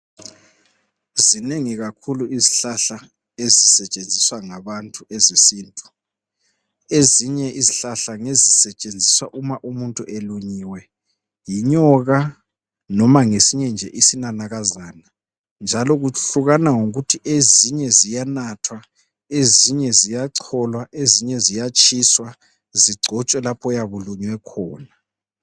Zinengi kakhulu izihlahla ezisetshenziswa ngabantu ezesintu, ezinye izihlahla ngezisetshenziswa uma umuntu elunyiwe yinyoka noba ngesinye isinanakazana njalo kuhlukana ngokuthi ezinye ziyanathwa ezinye ziyacholwa ezinye ziyatshiswa zigcotshwe lapho oyabe ulunywe khona.